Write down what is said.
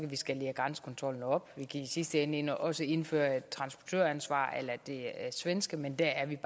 skalere grænsekontrollen op og vi kan i sidste ende også indføre et transportøransvar a la det svenske men dér er vi